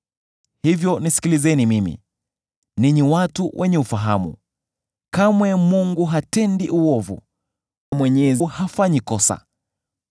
“Hivyo nisikilizeni mimi, ninyi watu wenye ufahamu. Kamwe Mungu hatendi uovu, Mwenyezi hafanyi kosa.